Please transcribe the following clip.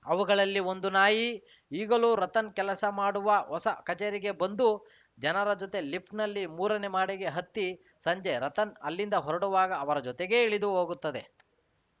ಅವುಗಳಲ್ಲಿ ಒಂದು ನಾಯಿ ಈಗಲೂ ರತನ್‌ ಕೆಲಸ ಮಾಡುವ ಹೊಸ ಕಚೇರಿಗೆ ಬಂದು ಜನರ ಜೊತೆ ಲಿಫ್ಟ್‌ನಲ್ಲಿ ಮೂರನೇ ಮಹಡಿಗೆ ಹತ್ತಿ ಸಂಜೆ ರತನ್‌ ಅಲ್ಲಿಂದ ಹೊರಡುವಾಗ ಅವರ ಜೊತೆಗೇ ಇಳಿದುಹೋಗುತ್ತದೆ